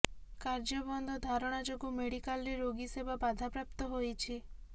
କାର୍ଯ୍ୟବନ୍ଦ ଓ ଧାରଣା ଯୋଗୁ ମେଡିକାଲରେ ରୋଗୀ ସେବା ବାଧାପ୍ରାପ୍ତ ହୋଇଛି